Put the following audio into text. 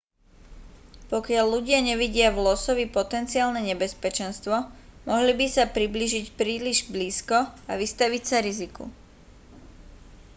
pokiaľ ľudia nevidia v losovi potenciálne nebezpečenstvo mohli by sa priblížiť príliš blízko a vystaviť sa riziku